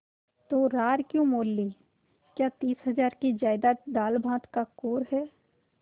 तो रार क्यों मोल ली क्या तीस हजार की जायदाद दालभात का कौर है